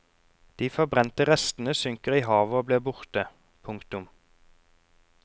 De forbrente restene synker i havet og blir borte. punktum